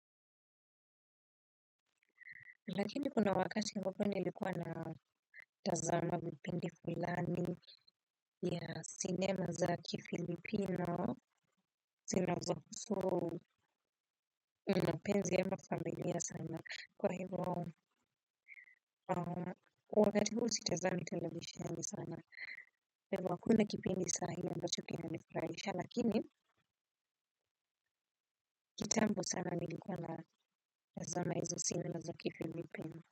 Lakini kuna wakati ambapo nilikuwa na tazama vipindi fulani ya sinema za kifilipino, zinazo penzi ya mafamilia sana, kwa hivyo wakati huu sitazami televishiani sana. Kwa hivyo hakuna kipindi saa hii ambacho kinanifurahisha, lakini kitambo sana nilikuwa natazama hizo sinema za kifilipino.